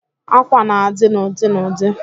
Àkwà na-adị n'ụdị n'ụdị